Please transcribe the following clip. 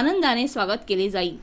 आनंदाने स्वागत केले जाईल